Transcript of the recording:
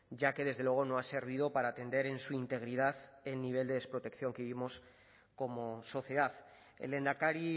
ya que desde luego no ha servido para atender en su integridad el nivel de desprotección que vivimos como sociedad el lehendakari